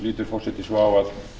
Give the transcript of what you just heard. lítur forseti svo á